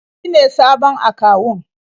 Shi ne sabon akawun.